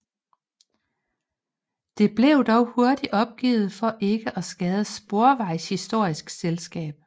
Det blev dog hurtigt opgivet for ikke at skade Sporvejshistorisk Selskab